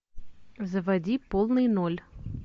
заводи полный ноль